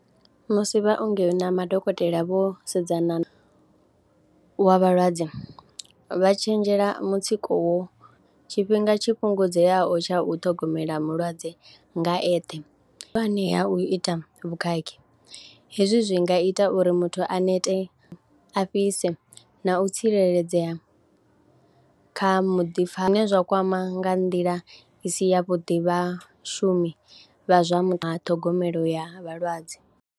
Musi vhaongi na madokotela vho sedzana, wa vhalwadze vha tshenzhela mutsiko wo, tshifhinga tshi fhungudzeaho tsho u ṱhogomela mulwadze nga eṱhe, ha u ita vhukhakhi hezwi zwi nga ita uri muthu a nete, a fhise na u tsireledzea kha muḓipfha, zwine zwa kwama nga nḓila i si yavhuḓi vhashumi vha zwa mu, ṱhogomelo ya vhalwadze.